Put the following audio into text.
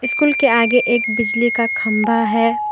School के आगे एक बिजली का खंभा है।